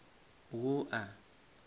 wua